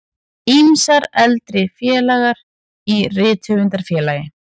Ýmsir eldri félagar í Rithöfundafélagi